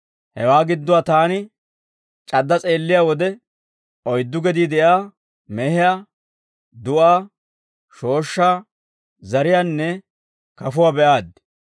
Hewaa gidduwaa taani c'adda s'eelliyaa wode, oyddu gedii de'iyaa mehiyaa, du'aa, shooshshaa, zariyaanne kafuwaa be'aaddi.